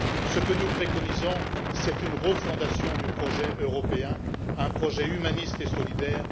Ce que nous préconisons, c'est une refondation du projet européen, un projet humaniste et solidaire.